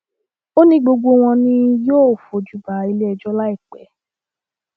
ó ní gbogbo wọn ni yóò fojú ba iléẹjọ láìpẹ